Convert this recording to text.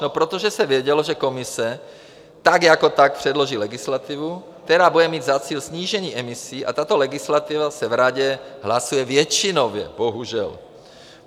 No protože se vědělo, že Komise tak jako tak předloží legislativu, která bude mít za cíl snížení emisí, a tato legislativa se v Radě hlasuje většinově, bohužel.